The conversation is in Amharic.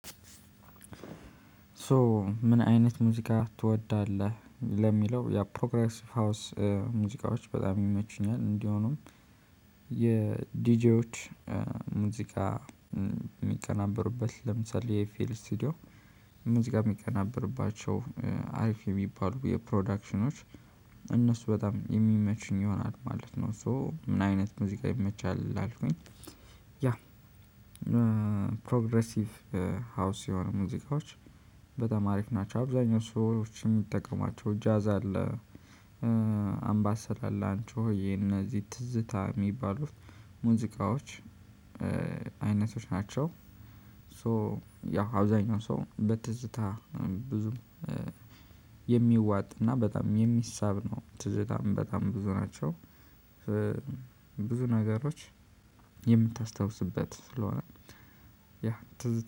ሶ ምን አይነት ሙዚቃ ትወዳለህ? ለሚለው የፕሮግረስቲንግ ሀውስ ሙዚቃዎች በጣም ይመቹኛል እንዲሆኑም የዲጄዎች ሙዚቃ የሚቀናበርበት ለምሳሌ የኤፍኤል ስቱዲዮ ሙዚቃ የሚቀናበርባቸው አሪፍ የሚባሉ የፕሮዳክሽኖች እነሱ በጣም የሚመችኝ ይሆናል ማለት ነው። ሶ ምን አይነት ሙዚቃ ይመቻል ካልከኝ? ያ ፕሮግረሲቭ ሀውስ የሆኑ ሙዚቃዎች በጣም አሪፍ ናቸው። አብዛኛው ሰዎች የሚጠቀሟቸው ጃዝ አለ አምባሰል አላንቾ የነዚህ ትዝታ የሚባሉት ሙዚቃዎች አይነቶች ናቸው። ሶ ያው አብዛኛው ሰው በትዝታ ብዙም የሚዋጥና በጣም የሚሳብ ነው ትዝታም በጣም ብዙ ናቸው። ብዙ ነገሮች የምታስታውስበት ስለሆነ ያ